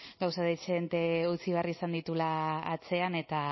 gauza dezente utzi behar izan dituela atzean eta